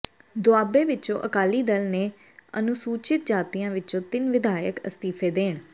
ਦੋਆਬੇ ਵਿਚੋਂ ਅਕਾਲੀ ਦਲ ਦੇ ਅਨੁਸੂਚਿਤ ਜਾਤੀਆਂ ਵਿਚੋਂ ਤਿੰਨ ਵਿਧਾਇਕ ਅਸਤੀਫੇ ਦੇਣ